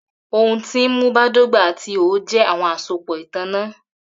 Ohun ti nmu badọgba ati iho jẹ awọn asopọ itanna